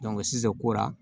sisan kora